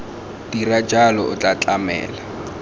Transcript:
dira jalo o tla tlamela